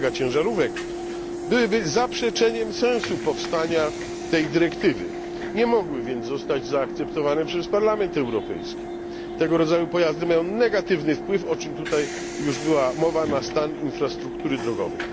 megaciężarówek, byłyby zaprzeczeniem sensu powstania tej dyrektywy, nie mogły więc zostać zaakceptowane przez Parlament Europejski. Tego rodzaju pojazdy mają negatywny wpływ, o czym tutaj już była mowa, na stan infrastruktury drogowej.